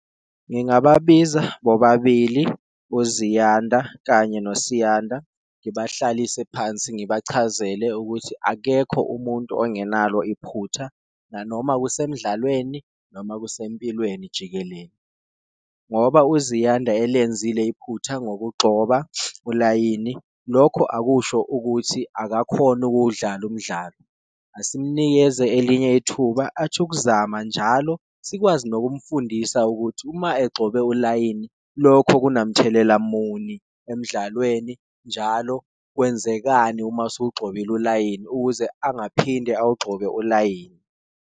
Ngingababiza bobabili uZiyanda kanye noSiyanda ngibahlalise phansi ngibachazele ukuthi akekho umuntu ongenalo iphutha, nanoma kusemdlalweni noma kuse empilweni jikelele. Ngoba uZiyanda elenzile iphutha ngokugxoba ulayini, lokho akusho ukuthi akakhoni ukuwudlala umdlalo, asimnikeze elinye ithuba athi ukuzama njalo. Sikwazi nokumfundisa ukuthi uma egxobe ulayini lokho kunamthelela muni emdlalweni, njalo kwenzekani uma usuwugxobile ulayini, ukuze angaphinde uwugxobe ulayini.